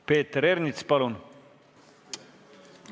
Peeter Ernits, palun!